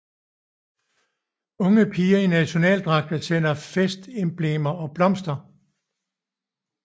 Unge piger i nationaldragter sælger festemblemer og blomster